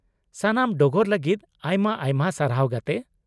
-ᱥᱟᱱᱟᱢ ᱰᱚᱜᱚᱨ ᱞᱟᱹᱜᱤᱫ ᱟᱭᱢᱟ ᱟᱭᱢᱟ ᱥᱟᱨᱦᱟᱣ ᱜᱟᱛᱮ ᱾